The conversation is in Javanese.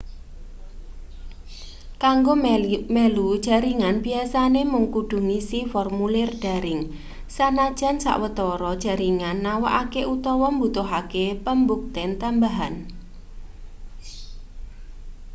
kanggo melu jaringan biyasane mung kudu ngisi formulir daring sanajan sawetara jaringan nawakake utawa mbutuhake pambukten tambahan